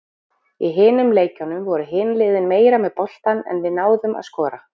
Í hinum leikjunum voru hin liðin meira með boltann en við náðum að skora.